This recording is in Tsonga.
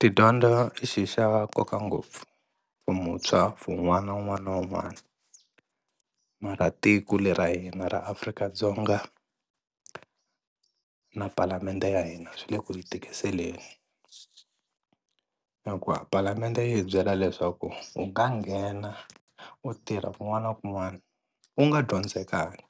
Tidyondzo i xi xa nkoka ngopfu for muntshwa for n'wana un'wana na un'wana mara tiko le ra hina ra Afrika-Dzonga na paalamende ya hina swi le ku hi tikiseleni hikuva palamende yi hi byela leswaku u nga nghena u tirha kun'wana na kun'wana u nga dyondzekanga